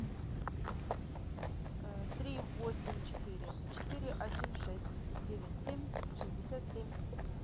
три восемь четыре четыре один шесть девять семь шестьдесят семь